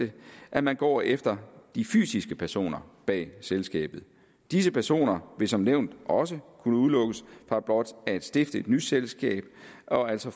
at man går efter de fysiske personer bag selskabet disse personer vil som nævnt også kunne udelukkes fra blot at stifte et nyt selskab og altså